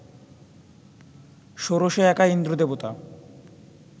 ষোড়শে একা ইন্দ্র দেবতা